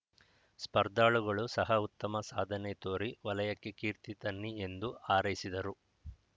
ಸ್ಪರ್ಧಾಳುಗಳು ಸಹ ಉತ್ತಮ ಸಾಧನೆ ತೋರಿ ವಲಯಕ್ಕೆ ಕೀರ್ತಿ ತನ್ನಿ ಎಂದು ಹಾರೈಸಿದರು